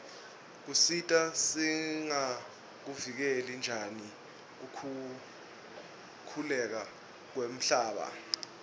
kutsi singakuvikela njani kukhukhuleka kwemhlaba